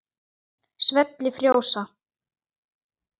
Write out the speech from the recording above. Svell frjósa.